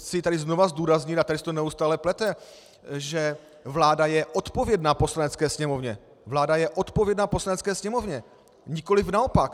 Chci tady znovu zdůraznit - a tady se to neustále plete -, že vláda je odpovědná Poslanecké sněmovně, vláda je odpovědná Poslanecké sněmovně, nikoliv naopak.